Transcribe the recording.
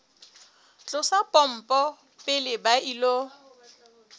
tlosa pompo pele ba ilo